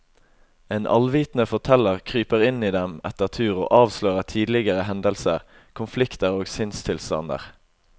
En allvitende forteller kryper inn i dem etter tur og avslører tidligere hendelser, konflikter og sinnstilstander.